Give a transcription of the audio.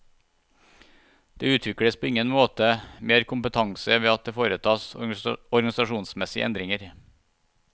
Det utvikles på ingen måte mer kompetanse ved at det foretas organisasjonsmessige endringer.